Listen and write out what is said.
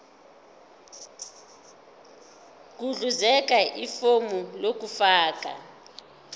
gudluzela ifomu lokufaka